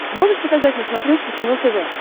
можешь показать на смотрешке кино тв